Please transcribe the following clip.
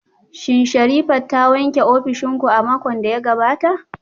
Shin Sherifat ta wanke ofishin ku a makon da ya gabata?